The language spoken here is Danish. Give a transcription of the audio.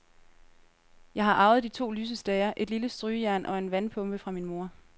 Jeg har arvet de to lysestager, et lille strygejern og en vandpumpe fra min mor.